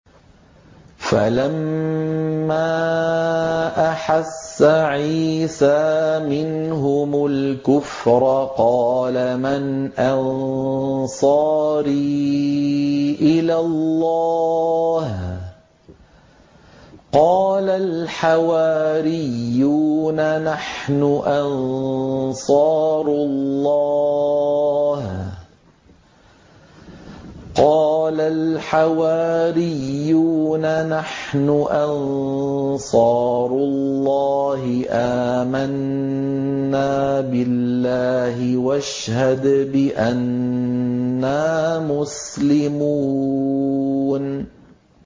۞ فَلَمَّا أَحَسَّ عِيسَىٰ مِنْهُمُ الْكُفْرَ قَالَ مَنْ أَنصَارِي إِلَى اللَّهِ ۖ قَالَ الْحَوَارِيُّونَ نَحْنُ أَنصَارُ اللَّهِ آمَنَّا بِاللَّهِ وَاشْهَدْ بِأَنَّا مُسْلِمُونَ